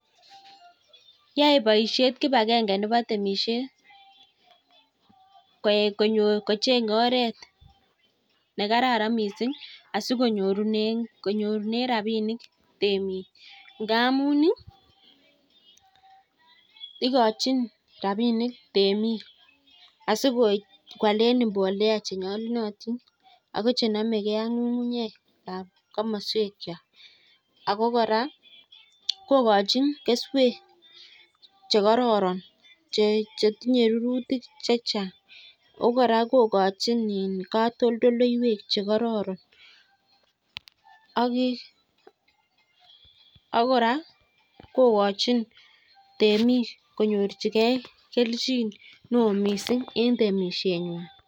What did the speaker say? Yae boisiet kipagenge nebo temisiet kocheng'e oret nekararan miising asikonyorunen rabinik temik ngamun, igochin rabinik temik asikoalen mbolea chenyolunotin ago che nomege ak ng'ung'unyek ab komoswekywak. Ago kora kogochin keswek che kororon che tinye rurutik che chang ago kora kogochin katoltoleiywek che kororon ak kora kogochin temik konyorjige kelchin neo mising en temisienywan.